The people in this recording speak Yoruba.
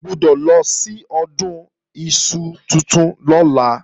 O gbọ́dọ̀ lọ sí Ọdún iṣu tuntun lọ́la